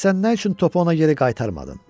Bəs sən nə üçün topu ona geri qaytarmadın?